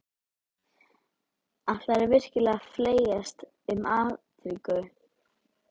Ætlarðu virkilega að flækjast um Afríku?